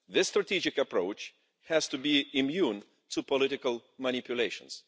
This strategic approach has to be immune to political manipulations.